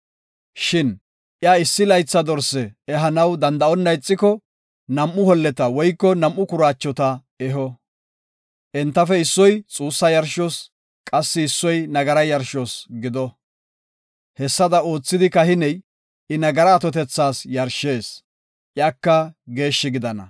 “Shin iya issi laytha dorse ehanaw danda7onna ixiko, nam7u holleta woyko nam7u kuraachota eho. Entafe issoy xuussa yarshos, qassi issoy nagara yarshos gido. Hessada oothidi kahiney I nagaraa atotethas yarshees; iyaka geeshshi gidana.”